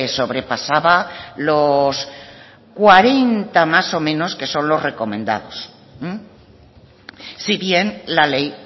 sobrepasaba los cuarenta más o menos que son los recomendados si bien la ley